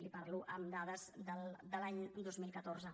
li parlo amb dades de l’any dos mil catorze